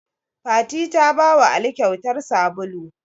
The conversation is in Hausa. Fati ta bawa ali kyautar sabulu